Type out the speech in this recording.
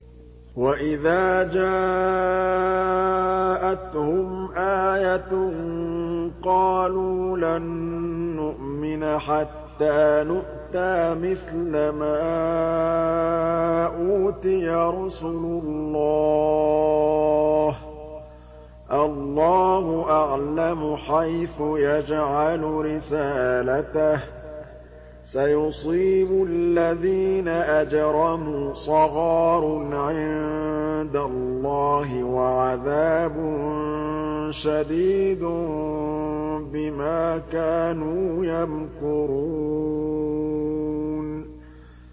وَإِذَا جَاءَتْهُمْ آيَةٌ قَالُوا لَن نُّؤْمِنَ حَتَّىٰ نُؤْتَىٰ مِثْلَ مَا أُوتِيَ رُسُلُ اللَّهِ ۘ اللَّهُ أَعْلَمُ حَيْثُ يَجْعَلُ رِسَالَتَهُ ۗ سَيُصِيبُ الَّذِينَ أَجْرَمُوا صَغَارٌ عِندَ اللَّهِ وَعَذَابٌ شَدِيدٌ بِمَا كَانُوا يَمْكُرُونَ